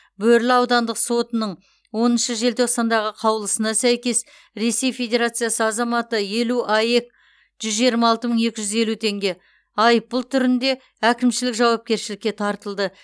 бөрлі аудандық сотының оныншы желтоқсандағы қаулысына сәйкес ресей федерациясы азаматы елу аек жүз жиырма алты мың екі жүз елу теңге айыппұл түрінде әкімшілік жауапкершілікке тартылды